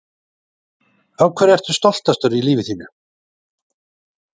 Af hverju ertu stoltastur í lífi þínu?